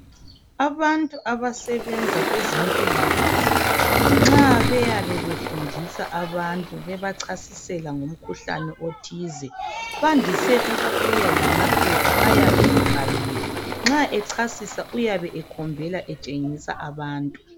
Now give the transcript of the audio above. Abantu abasebenza kwezempilakahle nxa beyabe befundisa abantu bebachasisela ngomkhuhlane othize bandise ukubuya lamaphepha ayabe ebhaliwe. Nxa echasisa uyabe ekhombela etshengisa abantu.